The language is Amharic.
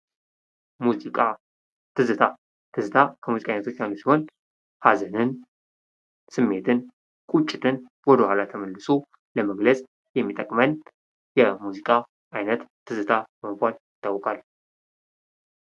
ሙዚቃ ትዝታ ትዝታ ከሙዚቃ አይነቶች አንዱ ሲሆን ስሜትን ቁጭትን ወደ ኋላ ተመልሶ ለመግለጽ የሚጠቅመን የሙዚቃ አይነት ትዝታ በመባል ይታወቃል።